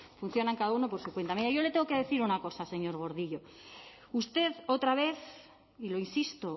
funcionan cada uno por su cuenta mire yo le tengo que decir una cosa señor gordillo usted otra vez y lo insisto